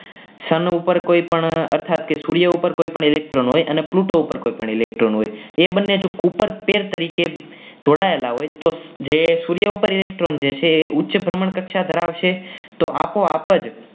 sun ઉપર કોઈપણ સૂર્ય ઉપર કોઈપણ electron હોય અને Pluto ઉપર પણ કોઈ electron હોય એ બંને જે ઉપર કેર તરીકે જોડાયેલા હોય તો સૂર્ય ઉપર જે electron છે એ ઉચ્ચ કક્ષા ધરાવશે તો આપોઆપ જ